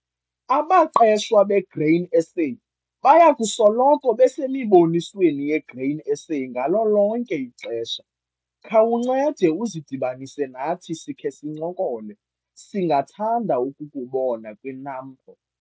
Abaqeshwa beGrain SA baya kusoloko besemibonisweni yeGrain SA ngalo lonke ixesha - khawuncede uzidibanise nathi sikhe sincokole - singathanda ukukubona kwiNAMPO.